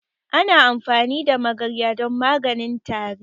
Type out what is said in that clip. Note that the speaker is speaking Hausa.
Ana amfani da magarya don maganin tari.